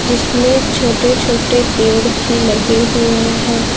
जिसमें छोटे छोटे पेड़ भी लगे हुए हैं।